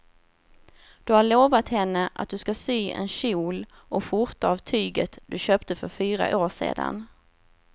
Du har lovat henne att du ska sy en kjol och skjorta av tyget du köpte för fyra år sedan.